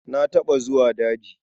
Na taɓa zuwa daji.